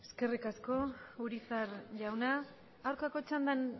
eskerrik asko urizar jauna aurkako txandan